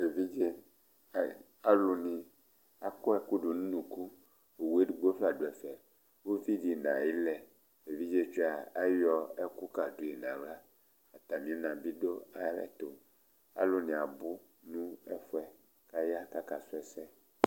Alu ni akɔ ɛkʋtɛ du ʋnʋku Owu ɛdigbo du ɛfɛ Ʋvidí nʋ ayʋ ilɛ, evidze ayɔ ɛkʋ ka di nʋ aɣla Atami ina bi du ayʋɛtu Alu ni abʋ kʋ aya kakɔsu